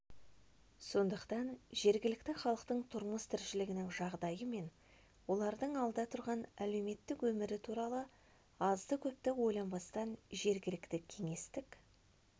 сондықтан жергілікті халықтың тұрмыс-тіршілігінің жағдайы мен олардың алда тұрған әлеуметтік өмірі туралы аздыкөпті ойланбастан жергілікті кеңестік